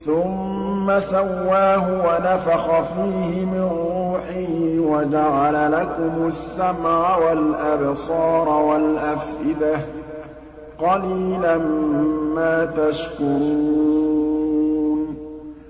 ثُمَّ سَوَّاهُ وَنَفَخَ فِيهِ مِن رُّوحِهِ ۖ وَجَعَلَ لَكُمُ السَّمْعَ وَالْأَبْصَارَ وَالْأَفْئِدَةَ ۚ قَلِيلًا مَّا تَشْكُرُونَ